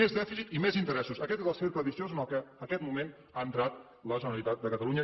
més dèficit i més interessos aquest és el cercle viciós en què en aquest moment ha entrat la generalitat de catalunya